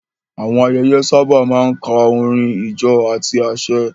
Àwọn ayẹyẹ sábà máa ń kan orin, ijó, àti àsè.